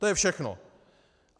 To je všechno.